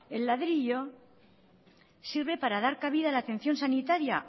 el ladrillo sirve para dar cabida a la atención sanitaria